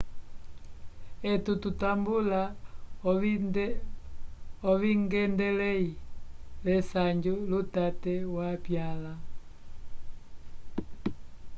etu tutambula ovingendelei lesanju lutate wapyanla